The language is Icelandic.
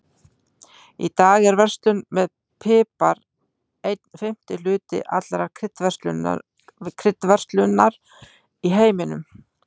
Í dag er verslun með pipar einn fimmti hluti allrar kryddverslunar í heiminum.